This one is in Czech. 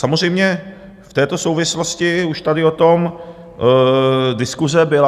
Samozřejmě v této souvislosti už tady o tom diskuse byla.